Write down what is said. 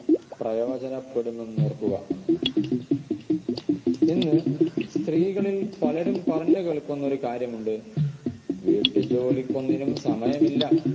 പ്രയോജനപ്പെടുമെന്നോർക്കുക ഇന്ന് സ്ത്രീകളിൽ പലരും പറഞ്ഞു കേൾക്കുന്ന ഒരു കാര്യമുണ്ട് വീട്ടുജോലിക്കൊന്നിനും സമയമില്ല